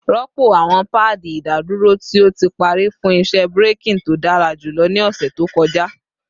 Rọpo awọn paadi idaduro ti o ti pari fun iṣẹ braking to dara julọ ni ọsẹ to kọja